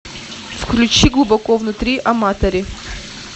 включи глубоко внутри аматори